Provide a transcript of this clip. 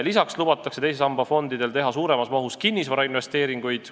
Lisaks lubatakse teise samba fondidel teha suuremas mahus kinnisvarainvesteeringuid.